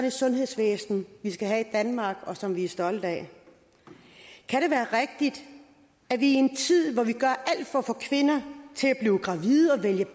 et sundhedsvæsen vi skal have i danmark og som vi stolte af kan det være rigtigt at vi i en tid hvor vi gør alt for at få kvinder til at blive gravide og vælge